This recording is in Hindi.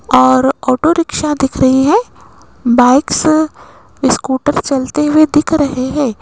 और ऑटो रिक्शा दिख रही है बाइक्स स्कूटर चलते हुए दिख रहे हैं।